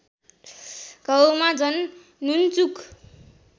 घाउमा झन् नुनचुक